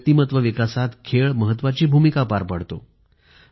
व्यक्तिमत्व विकासात खेळ महत्वाची भूमिका पार पाडतो